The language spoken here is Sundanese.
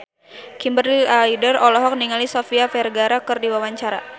Kimberly Ryder olohok ningali Sofia Vergara keur diwawancara